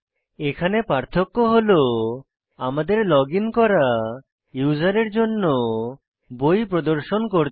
এখানে পার্থক্য হল আমাদের লগ ইন করা ইউজারের জন্য বই প্রদর্শন করতে হবে